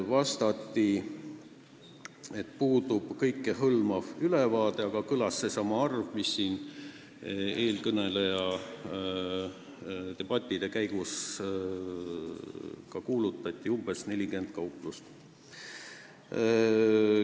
Vastati, et kõikehõlmavat ülevaadet pole, aga kõlas seesama arv, mida eelkõneleja debati käigus nimetas: suletud on umbes 40 kauplust.